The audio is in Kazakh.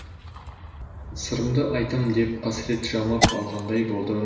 сырымды айтамын деп қасірет жамап алғандай болдым